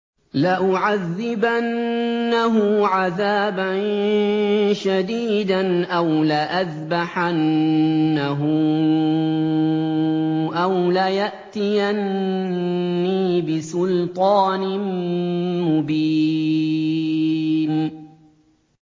لَأُعَذِّبَنَّهُ عَذَابًا شَدِيدًا أَوْ لَأَذْبَحَنَّهُ أَوْ لَيَأْتِيَنِّي بِسُلْطَانٍ مُّبِينٍ